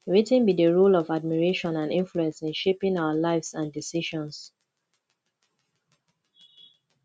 wetin be di role of admiration and influence in shaping our lives and decisions